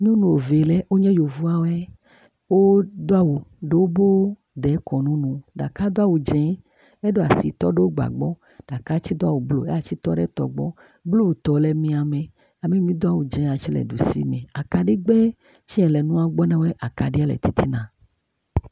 Nyɔnuvi aɖe wonye yevuwo. Wodo awu ɖe wobe dekɔnu nu. Ɖeka do awu dzi heɖo asi tɔ ɖe wobe agba gbɔ. Ɖeka tse do awu blu, yeatse tɔ ɖe tɔ gbɔ. Blutɔ le miame. Ame mi tse doa awu dze tɔ ɖe ɖusi me. Akaɖigbe si le nua gbɔ na woe akaɖi le tsitsina.